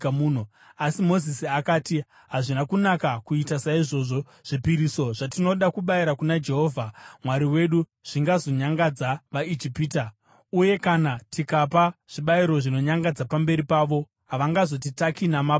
Asi Mozisi akati, “Hazvina kunaka kuita saizvozvo. Zvipiriso zvatinoda kubayira kuna Jehovha Mwari wedu zvingazonyangadza vaIjipita. Uye kana tikapa zvibayiro zvinonyangadza pamberi pavo, havangazotitaki namabwe here?